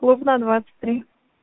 клубная двадцать три